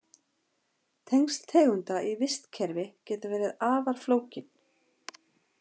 Tengsl tegunda í vistkerfi geta verið afar flókin.